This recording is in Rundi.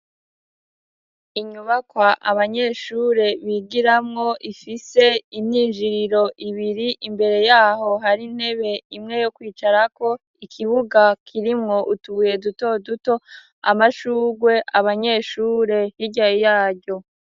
Inyubakwa abanyeshure bigiramwo, ifise imyinjiriro ibiri, imbere y'aho hari intebe imwe yo kwicarako, ikibuga kirimwo utubuye duto duto, amashugwe, abanyeshure hirya yaryo.